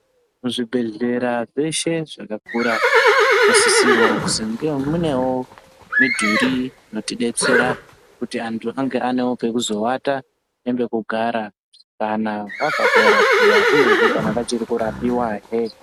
Kuzvibhehlera zveshe zvakakura munosisirwa kuti munewo mudhuri inotidetsera kutivandu vangewo vane pekuzoata nepekugara kana vabva kunorapiwa uyehe kana vachiri kurapiwa hee.